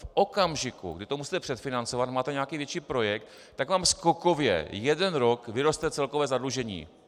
V okamžiku, kdy to musíte předfinancovat, máte nějaký větší projekt, tak vám skokově jeden rok vyroste celkové zadlužení.